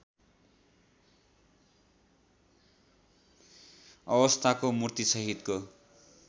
अवस्थाको मूर्तिसहितको